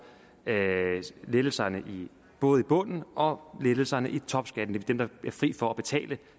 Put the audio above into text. lettelserne i bunden bunden og lettelserne i topskatten dem der bliver fri for at betale